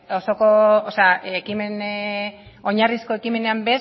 oinarrizko ekimenean